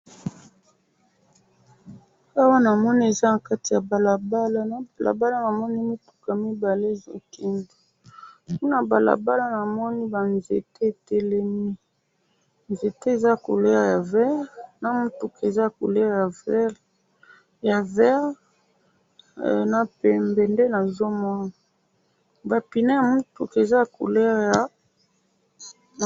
oyo namoni eza nakati ya balabala na balabala namoni mituka mibale ezo kende pe nabalabala namoni ba nzete etelemi ,nzete eza couleur ya vert na mutuka eza na couleur ya vert ya vert na pembe ba pineux ya mutuka eza na couleur ya ..